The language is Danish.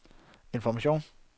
information